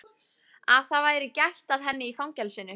Að það væri gætt að henni í fangelsinu?